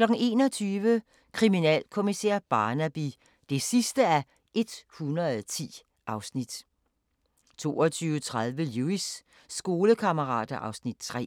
21:00: Kriminalkommissær Barnaby (110:110) 22:30: Lewis: Skolekammerater (Afs. 3)